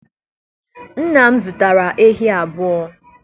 nna m zụtara ehi abuo?